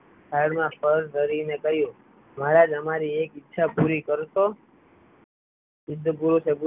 થાળમાં ફળ ધરીને કહ્યું મહારાજ અમારી એક ઈચ્છા પુરી કરશો